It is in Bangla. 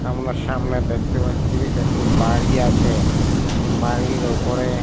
আমরা সামনে দেখতে পাচ্ছি একটি বাড়ি আছে বাড়ির ওপরে--